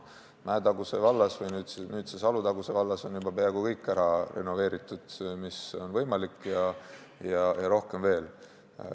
Mäetaguse või nüüdses Alutaguse vallas on juba peaaegu kõik ära renoveeritud, mis on võimalik, ja rohkemgi veel.